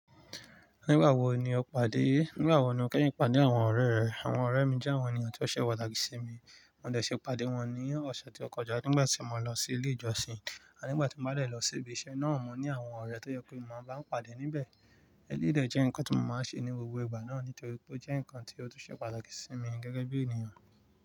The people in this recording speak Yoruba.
Nígbà wo ni o pàdé? Nígbà wo ni Kẹ́yìn pàdé àwọn ọ̀rẹ́ rẹ̀? Àwọn ọ̀rẹ́ mi jẹ́ àwọn ènìyàn tí ó ṣẹ̀ pàtàkì ṣí mi. Mó dẹ̀ ṣi pàdé wọn ní ọ̀sẹ̀ tí ó kọjá nígbà tí mo lọ sí Ilé ìjọsìn, à nígbà tí mó bá lè lọ sí ibi iṣẹ́ náà, mó ní àwọn ọ̀rẹ́ tó yẹ pé mó máa bá pàdé níbẹ̀. Éléyì dé jẹ́ nǹkan tí mó máa ń ṣe ní gbogbo ìgbà náà nítorí pé ó jẹ́ nǹkan tí ó tún ṣẹ̀ pàtàkì ṣí mi gẹ́gẹ́ bí ènìyàn.